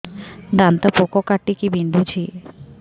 ଦାନ୍ତ ପୋକ କାଟିକି ବିନ୍ଧୁଛି